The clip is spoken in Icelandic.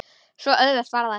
Svo auðvelt var það.